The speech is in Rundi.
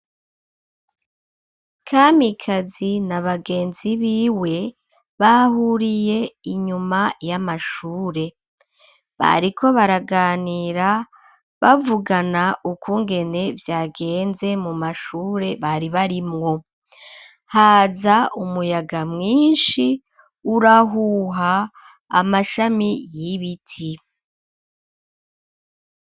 Kamikazi na bagenzi biwe bahuriye inyuma y'amashure, bariko baraganira bavugana ukungene vyagenze mu mashure bari barimwo haza umuyaga mwinshi urahuha amashami y'ibiti.